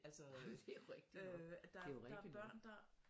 Jamen det er jo rigtig nok det er jo rigtig nok